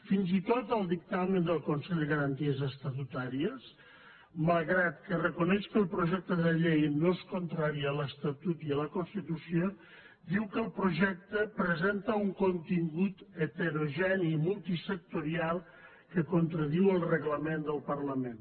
fins i tot el dictamen del consell de garanties estatutàries malgrat que reconeix que el projecte de llei no és contrari a l’estatut ni a la constitució diu que el projecte presenta un contingut heterogeni i multisectorial que contradiu el reglament del parlament